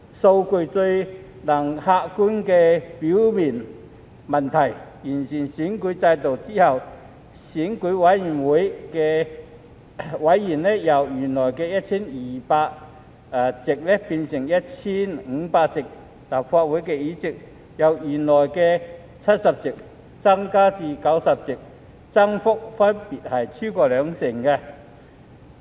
數據最能客觀說明問題，完善選舉制度後，選委會委員由原來的 1,200 席變成 1,500 席，立法會議席由原來的70席增至90席，增幅分別超過兩成。